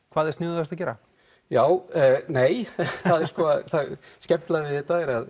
hvað er sniðugast að gera já nei það skemmtilega við þetta er að